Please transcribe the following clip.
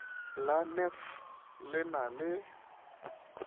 la nef le na le